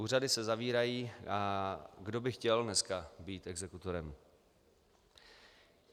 Úřady se zavírají, a kdo by chtěl dneska být exekutorem?